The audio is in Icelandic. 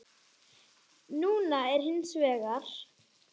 Núna er hins vegar.